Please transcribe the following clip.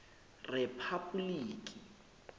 rephapoliki